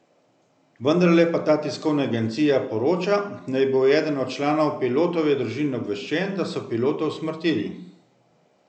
Vendarle pa ta tiskovna agencija poroča, da je bil eden od članov pilotove družine obveščen, da so pilota usmrtili.